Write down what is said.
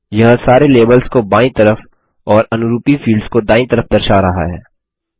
यह सारे लेबल्स को बायीं तरफ और अनरूपी फील्ड्स को दायीं तरफ दर्शा रहा है